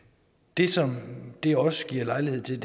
det som det også giver lejlighed til